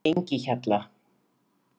Engihjalla